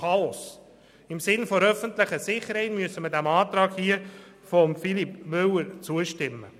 Im Sinne der öffentlichen Sicherheit müssen wir dem Antrag von Grossrat Müller zustimmen.